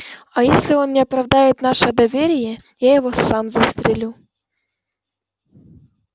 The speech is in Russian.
а если он не оправдает наше доверие я его сам застрелю